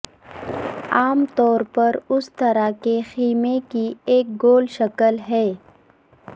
عام طور پر اس طرح کے خیمے کی ایک گول شکل ہے